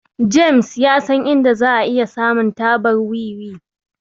James ya san inda za'a iya samun tabar wiwi.